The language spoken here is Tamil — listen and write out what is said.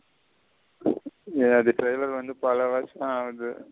ஏய் அது trailer வந்து பல வர்ச ஆகுது.